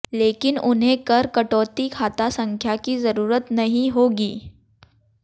लेकिन उन्हें कर कटौती खाता संख्या की जरूरत नहीं होगी